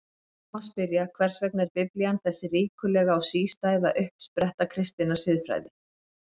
Nú má spyrja: Hvers vegna er Biblían þessi ríkulega og sístæða uppspretta kristinnar siðfræði?